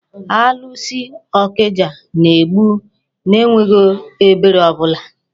Alụsị ọkịja na-egbu n'enweghị ebere ọbụla.